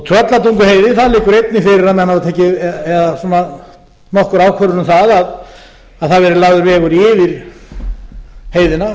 tröllatunguheiði það liggur einnig fyrir að menn hafa tekið nokkra ákvörðun um það að það verði lagður vegur yfir heiðina